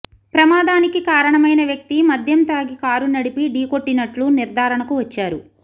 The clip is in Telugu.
ప్రమాదానికి కారణమైన వ్యక్తి మద్యం తాగి కారు నడిపి ఢీకొట్టినట్లు నిర్ధారణకు వచ్చారు